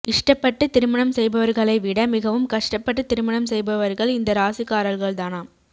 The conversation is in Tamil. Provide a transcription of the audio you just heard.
இஷ்டப்பட்டு திருமணம் செய்பவர்களை விட மிகவும் கஷ்டப்பட்டு திருமணம் செய்பவர்கள் இந்த ராசிகார்கள் தானாம்